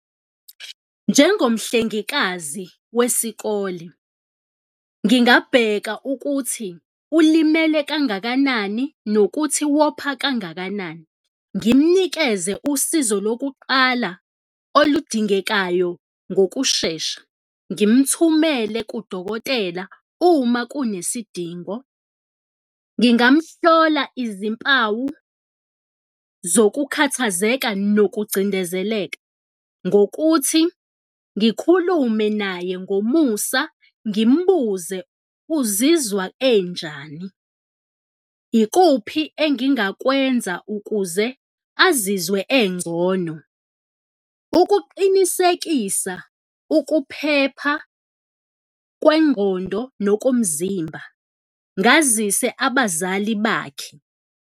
Njengomhlengikazi wesikole, ngingabheka ukuthi ulimele kangakanani nokuthi wopha kangakanani, ngimnikeze usizo lokuqala oludingekayo ngokushesha, ngimthumele kudokotela uma kunesidingo. Ngingamhlola izimpawu zokukhathazeka nokucindezeleka ngokuthi ngikhulume naye ngomusa ngimbuze uzizwa enjani, ikuphi engingakwenza ukuze azizwe engcono? Ukuqinisekisa ukuphepha kwengqondo nokomzimba, ngazise abazali bakhe.